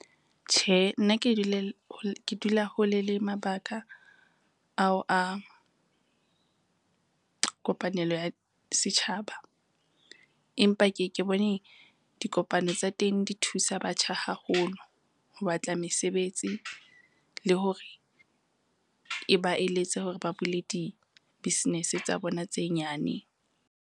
Tjhe, nna ke dula hole le mabaka ao a kopanelo ya setjhaba. Empa ke ke bone dikopano tsa teng di thusa batjha haholo ho batla mesebetsi, le hore e ba eletse hore ba bule di-business tsa bona tse nyane.